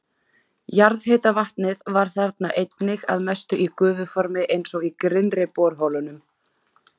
Jarðhitavatnið var þarna einnig að mestu í gufuformi eins og í grynnri borholunum.